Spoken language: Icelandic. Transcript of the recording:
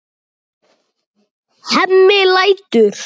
Hemmi lætur.